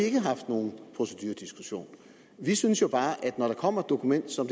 ikke haft nogen procedurediskussion vi synes jo bare at når der kommer et dokument som